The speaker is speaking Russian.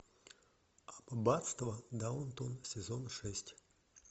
аббатство даунтон сезон шесть